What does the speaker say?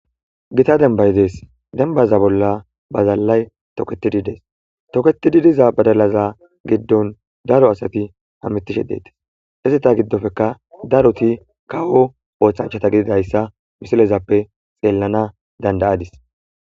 gita denbay dees denbaza bolla bazalalay toketidi dees toketidi diza badalaza giddon daro asati hamitishe deetes izita giddofeka daroti kawo ooththanchata gididayssa misilezappe xeellana dandayadis